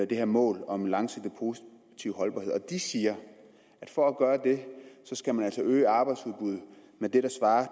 det her mål om en langsigtet positiv holdbarhed de siger at for at gøre det skal man altså øge arbejdsudbuddet med det der svarer